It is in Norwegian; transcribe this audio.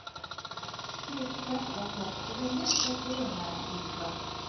Fire prosent av kraftforsyningen skal skje med vindkraft.